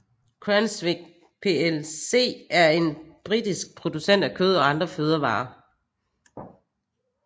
Cranswick plc er en britisk producent af kød og andre fødevarer